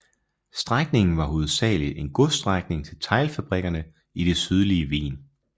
Strækningen var hovedsagelig en godsstrækning til teglfabrikkerne i det sydlige Wien